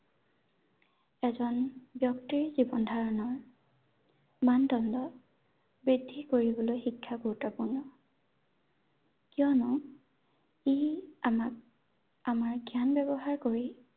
এজন ব্যক্তিৰ জীৱন ধাৰণৰ মানদণ্ড বৃদ্ধি কৰিবলৈ শিক্ষা গুৰুত্বপূৰ্ণ ৷ কিয়নো ই আমাক আমাৰ জ্ঞান ব্যৱহাৰ কৰি